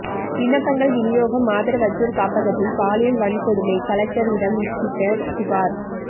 விண்ணப்பங்கள் விநியோகம் ஆதரவற்றோர் காப்பகத்தில் பாலியல் வன்கொடுமை கலெக்டரிடம் விசிக புகார்